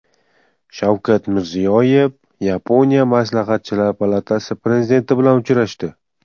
Shavkat Mirziyoyev Yaponiya Maslahatchilar palatasi prezidenti bilan uchrashdi.